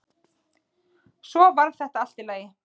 Svo varð þetta allt í lagi.